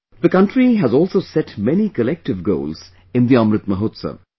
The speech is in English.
the country has also set many collective goals in the Amrit Mahotsav